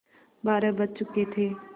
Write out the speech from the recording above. बारह बज चुके थे